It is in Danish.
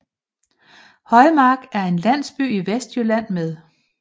Højmark er en landsby i Vestjylland med